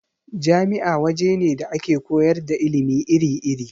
Jami'a waje ne da ake koyar da ilimi iri-iri.